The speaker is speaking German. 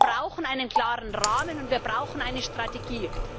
Wir brauchen einen klaren Rahmen, und wir brauchen eine Strategie.